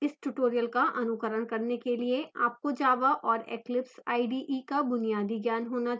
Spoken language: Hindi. इस tutorial का अनुकरण करने के लिए आपको java और eclipse ide का बुनियादी ज्ञान होना चाहिए